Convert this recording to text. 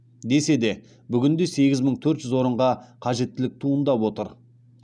десе де бүгінде сегіз мың төрт жүз орынға қажеттілік туындап отыр